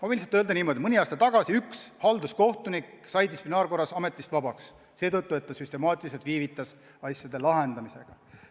Aga ma võin öelda, et mõni aasta tagasi sai üks halduskohtunik distsiplinaarkorras ametist vabaks seetõttu, et ta süstemaatiliselt viivitas asjade lahendamisega.